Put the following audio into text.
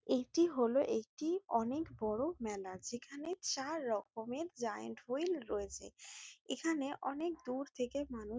এটি হলো একটি অনেক বড় মেলা যেখানে চার রকমের জায়ান্ট হুইল রয়েছে এখানে অনেক দূর থেকে মানু--